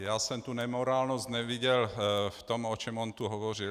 Já jsem tu nemorálnost neviděl v tom, o čem on tu hovořil.